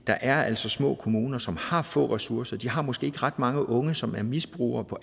er altså små kommuner som har få ressourcer de har måske ikke ret mange unge som er misbrugere på